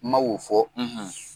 Ma wo fɔ